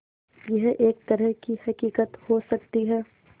यह एक तरह की हक़ीक़त हो सकती है